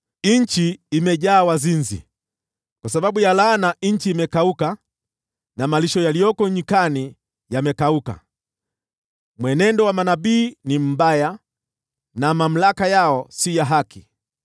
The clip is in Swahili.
Nchi imejaa wazinzi; kwa sababu ya laana, nchi imekauka na malisho yaliyoko nyikani yamekauka. Mwenendo wa manabii ni mbaya na mamlaka yao si ya haki.